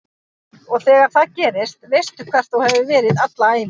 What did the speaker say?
Og þegar það gerist veistu hver þú hefur verið alla ævi